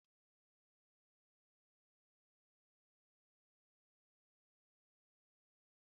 Klas anyị mere akụkọ ndị oyibo n'akpọ Gingerbread Man"